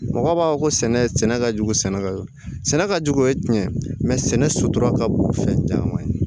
Mɔgɔ b'a fɔ ko sɛnɛ sɛnɛ ka jugu sɛnɛkɛ sɛnɛ ka jugu o ye tiɲɛ ye sɛnɛ sutura ka bon fɛn caman ye